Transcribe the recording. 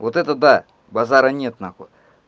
вот это да базара нет нахуй